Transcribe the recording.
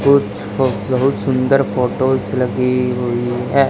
कुछ तो बहुत सुंदर फोटोस लगी हुई है।